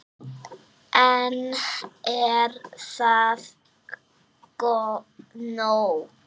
En er það nóg?